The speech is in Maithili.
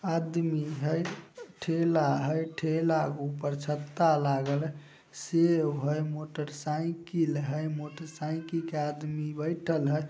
आदमी हेय ठेला हेय ठेला ऊपर छत्ता लागल हेय सेब हेय मोटरसाइकिल हेय मोटरसाइकिल के आदमी बएठल हेय।